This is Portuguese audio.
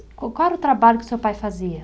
Co qual era o trabalho que o seu pai fazia?